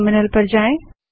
terminal पर जाएँ